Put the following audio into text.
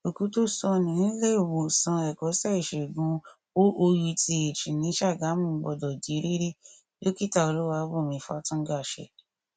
òkú tó sọnù níléemọsán ẹkọṣẹ ìṣègùn oouth ní sagamu gbọdọ di rírí dókítà olúwàbùnmí fátúngàṣe